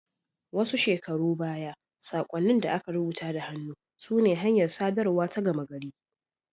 Wasu shekaru baya, saƙonnin da aka rubuta da hannu sune hanyar sadarwa ta gama gari.